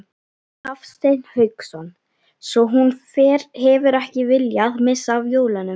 Hafsteinn Hauksson: Svo hún hefur ekki viljað missa af jólunum?